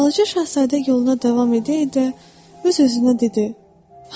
Balaca Şahzadə yoluna davam edə-edə öz-özünə dedi: